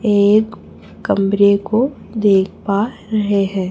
एक कमरे को देख पा रहे हैं।